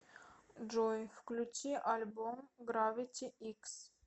джой включи альбом гравити икс